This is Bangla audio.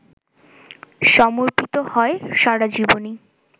সমর্পিত হয় সারাজীবনই!